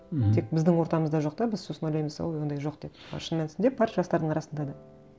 мхм тек біздің ортамызда жоқ та біз сосын ойлаймыз ой ондай жоқ деп а шын мәнісінде бар жастардың арасында да